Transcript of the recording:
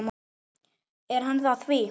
Er hann að því?